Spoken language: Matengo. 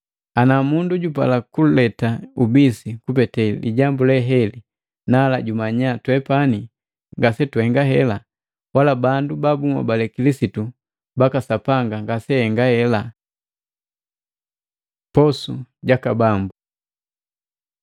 Ana mundu jupala kuleta ubisi kupete lijambu leheli, nala jumanya twepani ngase tuhenga hela, wala bandu babunhobale Kilisitu baka Sapanga ngaseahenga hela. Posu jaka Bambu Matei 26:26-29; Maluko 14:22-25; Luka 22:14-20